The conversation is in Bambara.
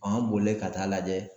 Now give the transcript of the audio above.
an bolilen ka taa lajɛ